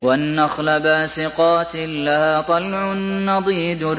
وَالنَّخْلَ بَاسِقَاتٍ لَّهَا طَلْعٌ نَّضِيدٌ